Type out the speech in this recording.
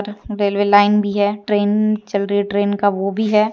Railway line भी है train चल रही है ट्रेन का मूह भी है।